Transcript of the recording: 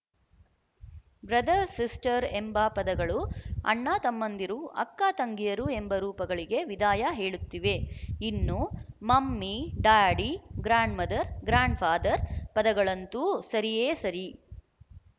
brother sister ಎಂಬ ಪದಗಳು ಅಣ್ಣ ತಮ್ಮಂದಿರು ಅಕ್ಕ ತಂಗಿಯರು ಎಂಬ ರೂಪಗಳಿಗೆ ವಿದಾಯ ಹೇಳುತ್ತಿವೆ ಇನ್ನು mummy daddy grandmother grandfather ಪದಗಳಂತೂ ಸರಿಯೇ ಸರಿ